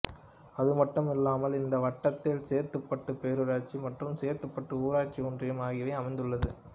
அதுமட்டுமில்லாமல் இந்த வட்டத்தில் சேத்துப்பட்டு பேரூராட்சி மற்றும் சேத்துப்பட்டு ஊராட்சி ஒன்றியம் ஆகியவை அமைந்துள்ளது